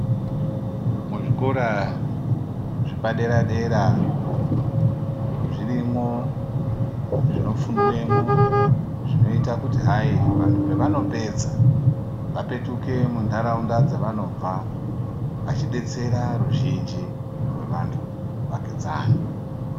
Muzvikora zvepadera-dera ,zvirimwo zvinofundwemwo zvinoyita kuti hayi vantu pavanopedza vapetuke mundaraunda dzavanobva vachidetsera ruzhinji rwevantu vavakidzani.